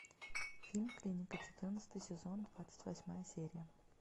фильм клиника четырнадцатый сезон двадцать восьмая серия